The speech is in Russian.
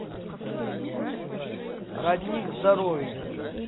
родник здоровья